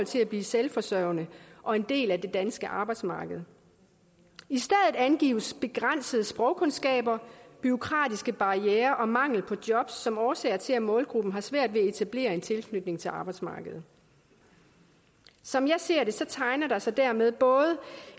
til at blive selvforsørgende og en del af det danske arbejdsmarked i stedet angives begrænsede sprogkundskaber bureaukratiske barrierer og mangel på job som årsager til at målgruppen har svært ved at etablere en tilknytning til arbejdsmarkedet som jeg ser det tegner der sig dermed både